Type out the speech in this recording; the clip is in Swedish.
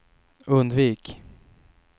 undvik